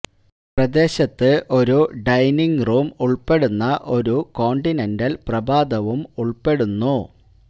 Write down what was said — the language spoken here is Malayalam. പ്രദേശത്ത് ഒരു ഡൈനിംഗ് റൂം ഉൾപ്പെടുന്ന ഒരു കോണ്ടിനെന്റൽ പ്രഭാതവും ഉൾപ്പെടുന്നു